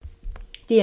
DR1